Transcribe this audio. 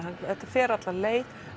þetta fer alla leið